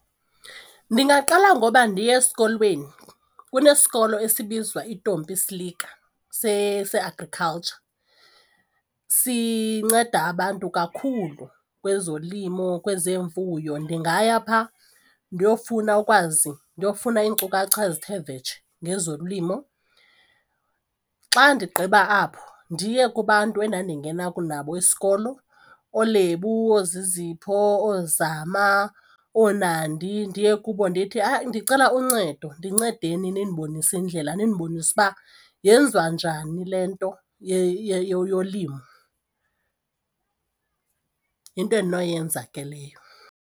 Ndingaqala ngoba ndiye esikolweni, kunesikolo esibizwa iDompie Slicke se-agriculture. Sinceda abantu kakhulu kwezolimo, kwezemfuyo ndingaya phaa ndiyofuna ukwazi ndiyofuna iinkcukacha ezithe vetshe ngezolimo. Xa ndigqiba apho ndiye kubantu endandingena nabo isikolo ooLebo, ooZizipho, ooZama, ooNandi ndiye kubo ndithi, hayi ndicela uncedo ndincedeni nindibonise indlela nindibonise uba yenziwa njani le nto yolimo. Yinto endinoyenza ke leyo.